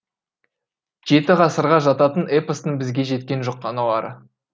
жеті ғасырға жататын эпостың бізге жеткен жұқаналары